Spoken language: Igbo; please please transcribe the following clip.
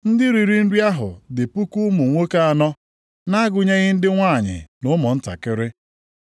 Ndị riri nri ahụ dị puku ụmụ nwoke anọ, nʼagụnyeghị ndị nwanyị na ụmụntakịrị.